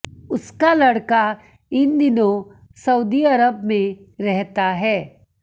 उसका लड़का इन दिनों सउदी अरब में रहता है